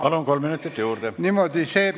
Palun, kolm minutit juurde!